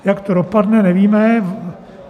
Jak to dopadne, nevíme.